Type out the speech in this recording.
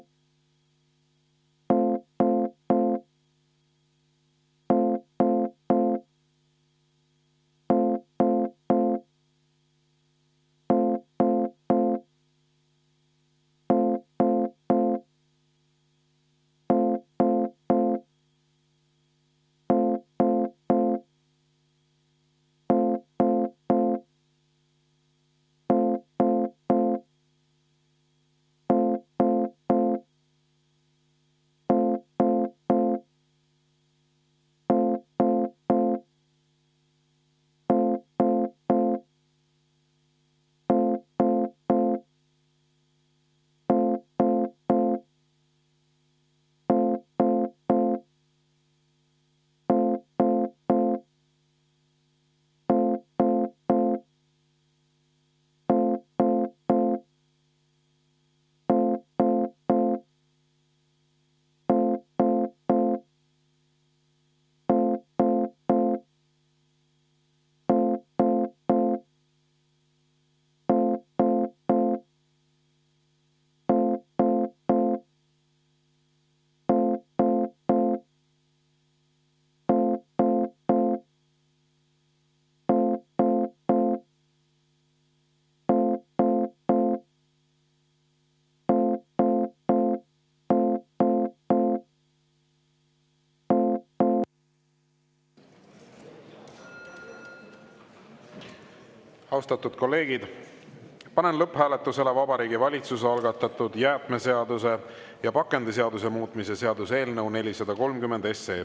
Austatud kolleegid, panen lõpphääletusele Vabariigi Valitsuse algatatud jäätmeseaduse ja pakendiseaduse muutmise seaduse eelnõu 430.